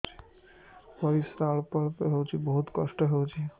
ପରିଶ୍ରା ଅଳ୍ପ ଅଳ୍ପ ହଉଚି ବହୁତ କଷ୍ଟ ହଉଚି